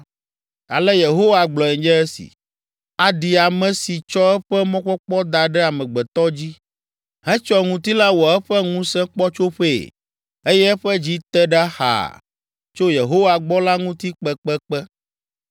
Ale Yehowa gblɔe nye esi: “Aɖi ame si tsɔ eƒe mɔkpɔkpɔ da ɖe amegbetɔ dzi, hetsɔ ŋutilã wɔ eƒe ŋusẽkpɔtsoƒee eye eƒe dzi te ɖa xaa tso Yehowa gbɔ la ŋuti kpekpekpe!